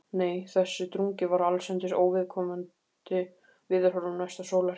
Nei, þessi drungi var allsendis óviðkomandi veðurhorfum næsta sólarhring.